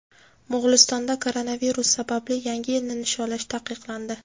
Mo‘g‘ulistonda koronavirus sababli Yangi yilni nishonlash taqiqlandi.